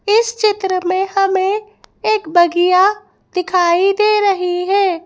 इस चित्र में हमें एक बगिया दिखाई दे रही है।